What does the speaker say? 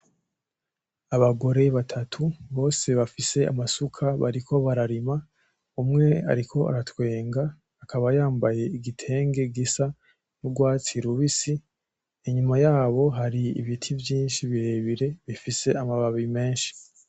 Abagore batatu bose bafise amasuka bariko bararima, umwe ariko aratwenga akaba yambaye igitenge gisa n'urwatsi rubisi, inyuma yabo hari ibiti vyinshi birebire bifise amababi menshi.